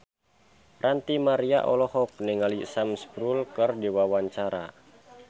Ranty Maria olohok ningali Sam Spruell keur diwawancara